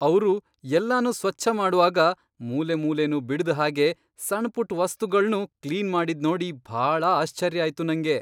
ಅವ್ರು ಎಲ್ಲನೂ ಸ್ವಚ್ಛ ಮಾಡ್ವಾಗ ಮೂಲೆಮೂಲೆನೂ ಬಿಡ್ದ್ ಹಾಗೆ, ಸಣ್ಪುಟ್ ವಸ್ತುಗಳ್ನೂ ಕ್ಲೀನ್ ಮಾಡಿದ್ನೋಡಿ ಭಾಳ ಆಶ್ಚರ್ಯ ಆಯ್ತು ನಂಗೆ.